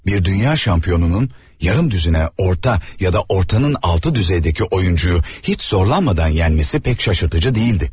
Bir dünya çempionunun yarım düzinə orta və ya ortadan aşağı səviyyəli oyunçunu heç çətinlik çəkmədən məğlub etməsi heç də təəccüblü deyildi.